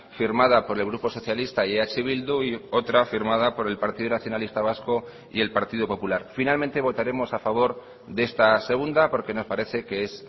firmada por el grupo socialista y eh bildu y otra firmada por el partido nacionalista vasco y el partido popular finalmente votaremos a favor de esta segunda porque me parece que es